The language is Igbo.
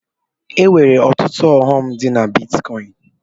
E nwere ọtụtụ ọghọm dị na bitkọin.